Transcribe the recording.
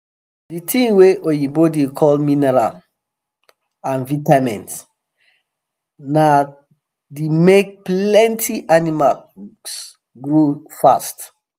the thing wa oyibo da call mineral and vitamins na the make plenty animals grow fast